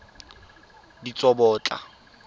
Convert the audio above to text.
ditsobotla